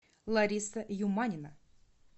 лариса юманина